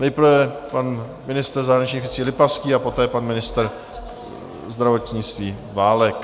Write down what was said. Nejprve pan ministr zahraničních věcí Lipavský a poté pan ministr zdravotnictví Válek.